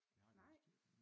Jeg har ikke lyst til det